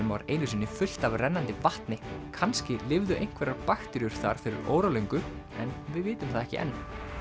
var einu sinni fullt af rennandi vatni kannski lifðu einhverjar bakteríur þar fyrir óralöngu en við vitum það ekki enn